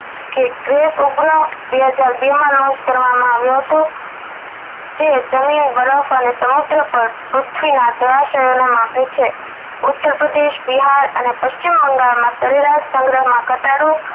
બે હજાર બે માં launch કરવામાં આવ્યો હતો જે જમીન બરફ અને સમુદ્ર પર પૃથ્વીના જળાશયો ને માપે છે ઉત્તર પ્રદેશ બિહાર અને પશ્ચિમ બંગાળ માં સરેરાશ સંગ્રહ માં ઘટાડો